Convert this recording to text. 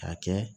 K'a kɛ